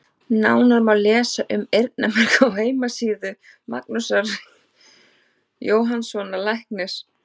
Nánar má lesa um eyrnamerg á heimasíðu Magnúsar Jóhannssonar læknis.